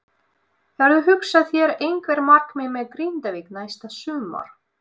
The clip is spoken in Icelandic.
Hefurðu hugsað þér einhver markmið með Grindavík næsta sumar?